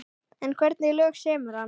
En hvernig lög semur hann?